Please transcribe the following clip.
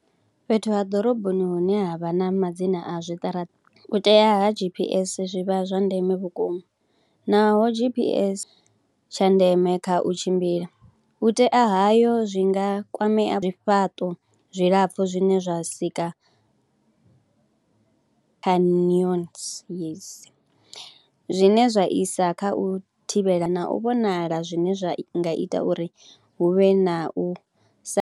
Fhethu ha ḓoroboni hune ha vha na ma dzina a zwiṱaraṱa u tea ha GPS zwi vha zwa ndeme vhukuma naho GPS, tsha ndeme kha u tshimbila u tea hayo zwi nga kwamea zwifhaṱo zwilapfhu zwine zwa sika yes, zwine zwa isa kha u thivhela na u vhonala zwine zwa nga ita uri hu vhe na u sa.